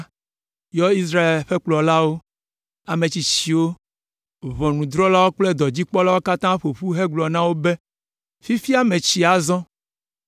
yɔ Israel ƒe kplɔlawo, ametsitsiwo, ʋɔnudrɔ̃lawo kple dɔdzikpɔlawo katã ƒo ƒu hegblɔ na wo be, “Fifia metsi azɔ.